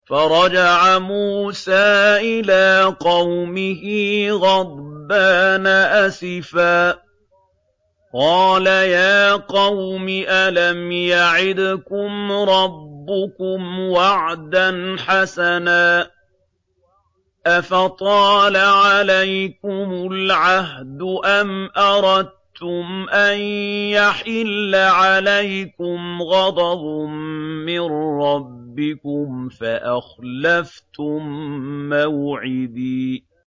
فَرَجَعَ مُوسَىٰ إِلَىٰ قَوْمِهِ غَضْبَانَ أَسِفًا ۚ قَالَ يَا قَوْمِ أَلَمْ يَعِدْكُمْ رَبُّكُمْ وَعْدًا حَسَنًا ۚ أَفَطَالَ عَلَيْكُمُ الْعَهْدُ أَمْ أَرَدتُّمْ أَن يَحِلَّ عَلَيْكُمْ غَضَبٌ مِّن رَّبِّكُمْ فَأَخْلَفْتُم مَّوْعِدِي